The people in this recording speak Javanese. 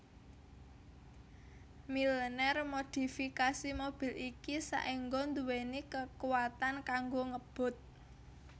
Milner modifikasi mobil iki saéngga nduweni kakuwatan kanggo ngebut